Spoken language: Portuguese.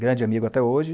Grande amigo até hoje.